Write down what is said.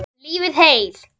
En Benni og Stína?